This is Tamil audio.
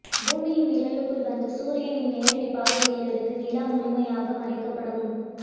பூமியின் நிழலுக்குள் வந்து சூரியனின் நேரடிப் பார்வையில் இருந்து நிலா முழுமையாக மறைக்கப்படும்